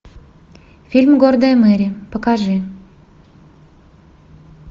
фильм гордая мэри покажи